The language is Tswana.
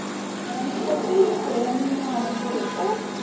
dikgatiso ya menwana gore o